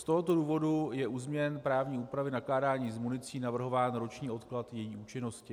Z tohoto důvodu je u změny právní úpravy nakládání s municí navrhován roční odklad její účinnosti.